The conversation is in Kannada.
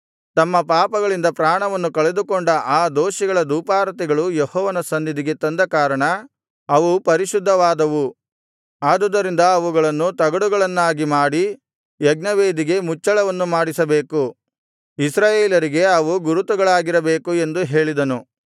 ತಮ್ಮ ಪಾಪಗಳಿಂದ ಪ್ರಾಣವನ್ನು ಕಳೆದುಕೊಂಡ ಆ ದೋಷಿಗಳ ಧೂಪಾರತಿಗಳು ಯೆಹೋವನ ಸನ್ನಿಧಿಗೆ ತಂದ ಕಾರಣ ಅವು ಪರಿಶುದ್ಧವಾದವು ಆದುದರಿಂದ ಅವುಗಳನ್ನು ತಗಡುಗಳನ್ನಾಗಿ ಮಾಡಿ ಯಜ್ಞವೇದಿಗೆ ಮುಚ್ಚಳವನ್ನು ಮಾಡಿಸಬೇಕು ಇಸ್ರಾಯೇಲರಿಗೆ ಅವು ಗುರುತುಗಳಾಗಿರಬೇಕು ಎಂದು ಹೇಳಿದನು